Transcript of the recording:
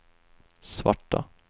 svarta